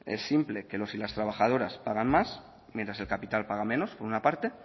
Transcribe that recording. es simple que los y las trabajadoras pagan más mientras que el capital paga menos por una parte